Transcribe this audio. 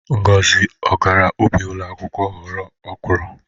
Ngozi ọ gara ubi ụlọ akwụkwọ ghọta ọkwụrụ?